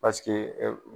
Paseke